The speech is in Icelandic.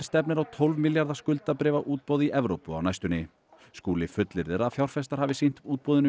stefnir á tólf milljarða skuldabréfaútboð í Evrópu á næstunni Skúli fullyrðir að fjárfestar hafi sýnt útboðinu